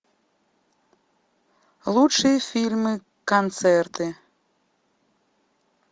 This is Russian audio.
лучшие фильмы концерты